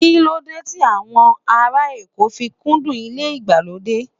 Kíló dé tí àwọn ará Èkó fi kúndùn ilé ìgbàlódé?